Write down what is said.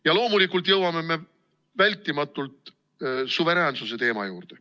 Ja loomulikult jõuame vältimatult suveräänsuse teema juurde.